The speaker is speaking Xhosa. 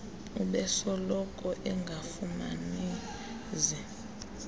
ubesoloko engafumani zi